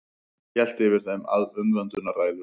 Hélt yfir þeim umvöndunarræður.